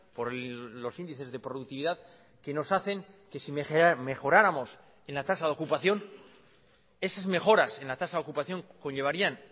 por los índices de productividad que nos hacen que si mejoráramos en la tasa de ocupación esas mejoras en la tasa de ocupación conllevarían